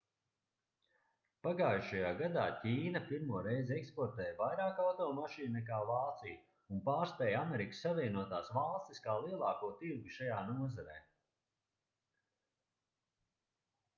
pagājušajā gadā ķīna pirmo reizi eksportēja vairāk automašīnu nekā vācija un pārspēja amerikas savienotās valstis kā lielāko tirgu šajā nozarē